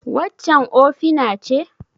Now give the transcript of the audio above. Waccan ofina ce?